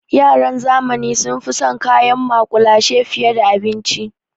Yaran zamani sun fi son kayan maƙulashe fiye da abinci.